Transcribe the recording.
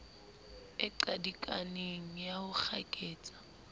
e qadikaneng ya ho kgaketsa